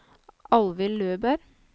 Alvhild Løberg